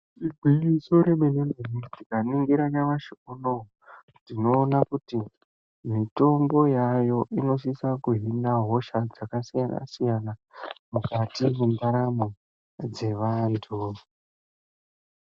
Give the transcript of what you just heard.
Igwinyiso remene-mene kudai, tikaningira nyamushi uno tinoona kuti mitombo yaayo, inosise kuhina hosha dzakasiyana-siyana mukati mendaramo dzevantu.